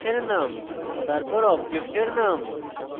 class name তারপর অবজেক্টের name